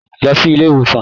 Lọ sí ilé ìwòsàn!